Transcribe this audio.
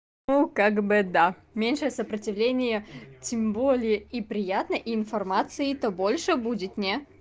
ну как бы да меньшее сопротивление тем более и приятно и информации то больше будет не